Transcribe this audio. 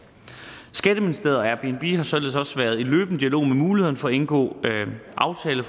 skatteministeriet og airbnb har således også været i løbende dialog om muligheden for at indgå aftale